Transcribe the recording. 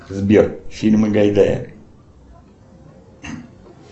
сбер фильмы гайдая